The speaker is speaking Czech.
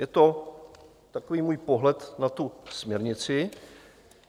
Je to takový můj pohled na tu směrnici.